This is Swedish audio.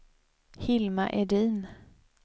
Hilma Edin